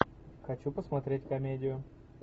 хочу посмотреть комедию